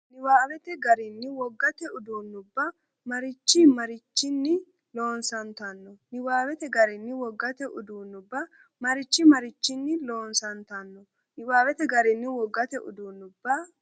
Niwaawete garinni wogate uduunnubba mariachi marichinni loosan- tanno Niwaawete garinni wogate uduunnubba mariachi marichinni loosan- tanno Niwaawete garinni wogate uduunnubba.